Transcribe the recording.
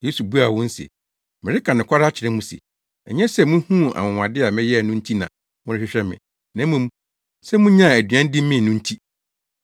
Yesu buaa wɔn se, “Mereka nokware akyerɛ mo se, ɛnyɛ sɛ muhuu anwonwade a meyɛe no nti na morehwehwɛ me, na mmom sɛ munyaa aduan di mee no nti.